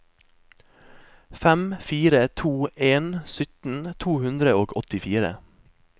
fem fire to en sytten to hundre og åttifire